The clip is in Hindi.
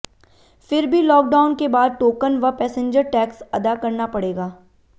फिर भी लॉकडाउन के बाद टोकन व पैसेंजर टैक्स अदा करना पड़ेगा